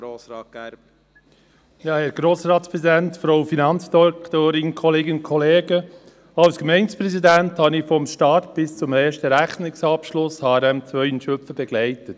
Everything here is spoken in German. Als Gemeindepräsident habe ich HRM2 in Schlüpfen vom Start bis zum ersten Rechnungsabschluss begleitet.